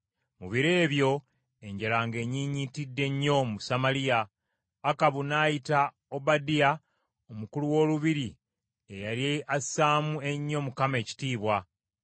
Mu biro ebyo enjala ng’ennyinnyitidde nnyo mu Samaliya, Akabu n’ayita Obadiya omukulu w’olubiri eyali assaamu ennyo Mukama ekitiibwa.